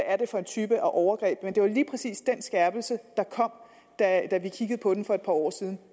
er for en type overgreb men det var lige præcis den skærpelse der kom da vi kiggede på den for et par år siden